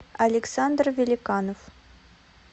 александр великанов